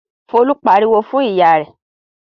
Folú pariwo fún ìyá rẹ̀?